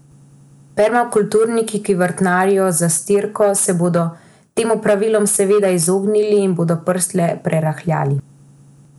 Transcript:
Permakulturniki, ki vrtnarijo z zastirko, se bodo tem opravilom seveda izognili in bodo prst le prerahljali.